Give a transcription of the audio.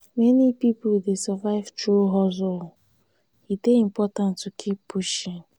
many pipo dey survive through hustle; e dey important to keep pushing.